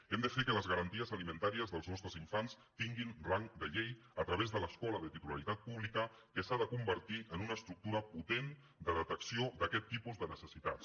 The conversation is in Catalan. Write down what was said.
hem de fer que les garanties alimentàries dels nostres infants tinguin rang de llei a través de l’escola de titularitat pública que s’ha de convertir en una estructura potent de detecció d’aquest tipus de necessitats